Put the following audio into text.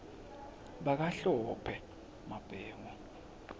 bakahlophe